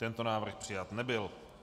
Tento návrh přijat nebyl.